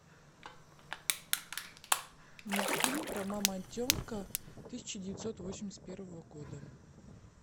мультфильм про мамонтенка тысяча девятьсот восемьдесят первого года